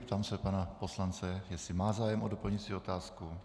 Ptám se pana poslance, jestli má zájem o doplňující otázku.